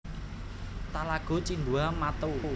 Talago Cindua Mato